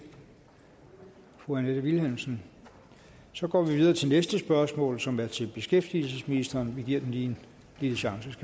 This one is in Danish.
fru annette vilhelmsen så går vi videre til næste spørgsmål som er til beskæftigelsesministeren vi giver en lille chance